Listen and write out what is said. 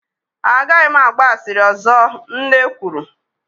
A gaghị m agba asịrị ọzọ, Nne kwuru